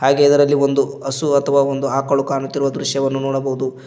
ಹಾಗೆ ಅದರಲ್ಲಿ ಒಂದು ಹಸು ಅಥವಾ ಒಂದು ಆಕಳು ಕಾಣುತ್ತಿರುವ ದೃಶ್ಯವನ್ನು ನೋಡಬಹುದು.